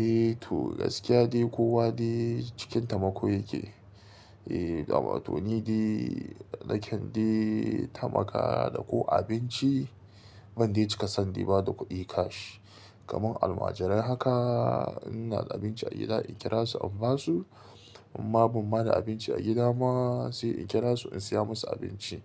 Eh to gaskiya ne kowa ne cikin tamako yake. Eh, damato ni de, nake tamaka da ko abinci, ban dai cika sani ba da kuɗi cash. Kaman almajirai haka, ina da abinci a gida in kira su in ba su. Amma ban ba da abinci a gida ma sai in kira su in saya musu abinci.